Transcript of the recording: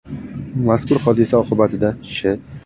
Mazkur hodisa oqibatida Sh.